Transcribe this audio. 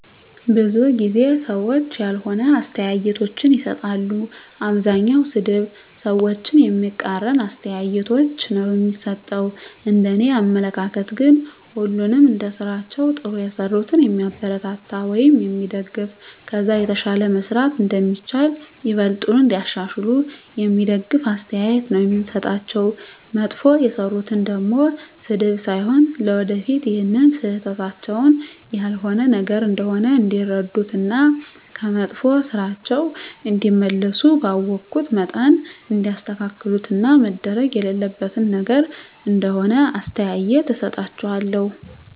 ብዙ ጊዜ ሰዎች ያልሆነ አስተያየቶችን ይሰጣሉ። አብዛኛዉ ሰድብ፣ ሰዎችን የሚቃረን አስተያየቶች ነዉ እሚሰጡት፤ እንደኔ አመለካከት ግን ሁሉንም እንደስራቸዉ ጥሩ የሰሩትን የሚያበረታታ ወይም የሚደገፍ ከዛ የተሻለ መስራት እንደሚቻል፣ ይበልጥኑ እንዲያሻሽሉ የሚደግፍ አስተያየት ነዉ የምሰጣቸዉ፣ መጥፎ የሰሩትን ደሞ ስድብ ሳይሆን ለወደፊት ይሀን ስህተታቸዉን ያልሆነ ነገር እንደሆነ እንዲረዱት እና ከመጥፋ ስራቸዉ እንዲመለሱ ባወኩት መጠን እንዲያስተካክሉት እና መደረግ የሌለበት ነገር እንደሆነ አስተያየት እሰጣቸዋለሁ።